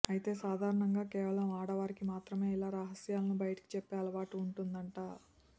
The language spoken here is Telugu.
అయితే సాధారణంగా కేవలం ఆడవారికి మాత్రమే ఇలా రహస్యాలను బయటికి చెప్పే అలవాటు ఉంటుందట